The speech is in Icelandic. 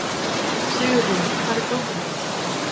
Sigurlín, hvar er dótið mitt?